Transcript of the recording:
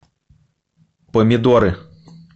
помидоры